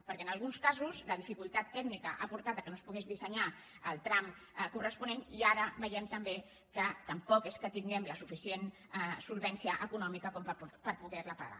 perquè en alguns casos la dificultat tècnica ha portat que no es pogués dissenyar el tram corresponent i ara veiem també que tampoc és que tinguem la suficient solvència econòmica per poder ho pagar